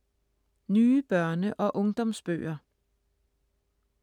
Nye børne- og ungdomsbøger